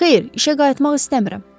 Xeyr, işə qayıtmaq istəmirəm.